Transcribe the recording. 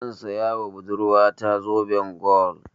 Zan saya ma budurwa ta zoben gwal.